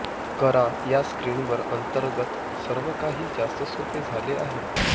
करा या स्क्रीनवर अंतर्गत सर्वकाही जास्त सोपे झाले आहे